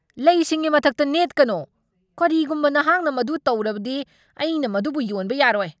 ꯂꯩꯁꯤꯡꯒꯤ ꯃꯊꯛꯇ ꯅꯦꯠꯀꯅꯣ! ꯀꯔꯤꯒꯨꯝꯕ ꯅꯍꯥꯛꯅ ꯃꯗꯨ ꯇꯧꯔꯕꯗꯤ ꯑꯩꯅ ꯃꯗꯨꯕꯨ ꯌꯣꯟꯕ ꯌꯥꯔꯣꯏ!